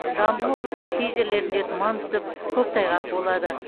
жамбыл облысының кей жерлерінде тұман түсіп көктайғақ болады